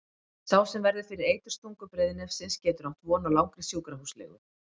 Sá sem verður fyrir eiturstungu breiðnefsins getur átt von á langri sjúkrahúslegu.